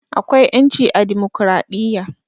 Akwai 'ƴanci a dimokradiyya.